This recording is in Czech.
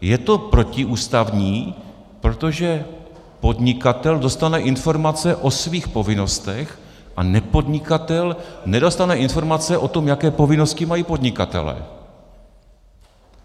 Je to protiústavní, protože podnikatel dostane informace o svých povinnostech a nepodnikatel nedostane informace o tom, jaké povinnosti mají podnikatelé.